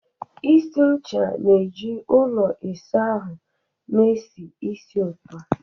Isi ncha na-eju ụlọ ịsa ahụ na-esi ísì ụtọ.